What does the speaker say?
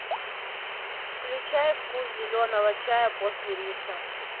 включай вкус зеленого чая после риса